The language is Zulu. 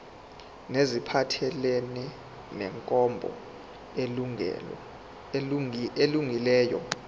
neziphathelene nenkambo elungileyo